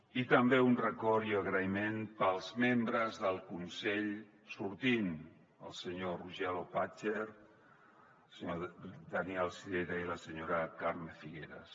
i també un record i agraïment per als membres del consell sortint el senyor roger loppacher el senyor daniel sirera i la senyora carme figueras